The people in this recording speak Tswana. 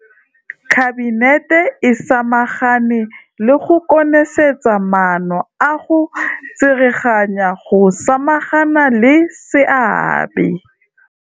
Kabinete e samagane le go konosetsa maano a go tsereganya go samagana le seabe.